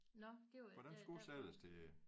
Nåh det var da der var